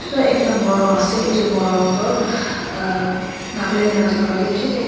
ekta morung ase etu morung tu nagaland la jaka dae bishi takae.